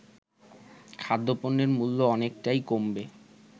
খাদ্যপণ্যের মূল্য অনেকটাই কমবে